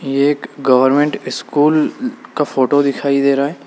एक government school का photo दिखाई दे रहा है।